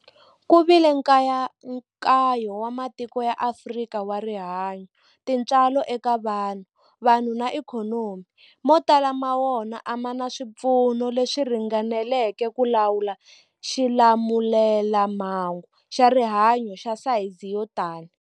Ku vile nkayakayo wa matiko ya Afrika wa rihanyu, tintswalo eka vanhu, vanhu na ikhonomi, mo tala ma wona a ma na swipfuno leswi ringaneleke ku lawula xilamulelamhangu xa rihanyu xa sayizi yo tani.